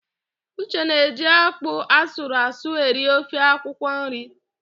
Uche na eji ákpụ́ asụrụasụ eri ofe akwụkwọnri